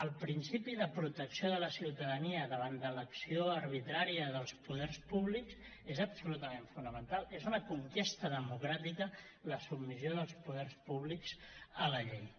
el principi de protecció de la ciutadania davant de l’acció arbitrària dels poders públics és absolutament fonamental és una conquesta democràtica la submissió dels poders públics a la llei